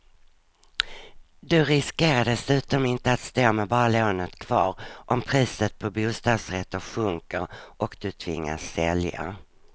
Du riskerar dessutom inte att stå med bara lånet kvar om priset på bostadsrätter sjunker och du tvingas sälja.